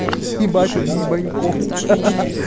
ебать он ебанько ха-ха